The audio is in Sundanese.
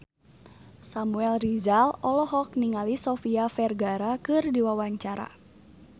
Samuel Rizal olohok ningali Sofia Vergara keur diwawancara